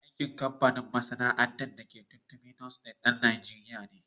Mai kamfanin/masana'antar da ake yin "Tummy tummy noodles" ɗan Najeriya ne.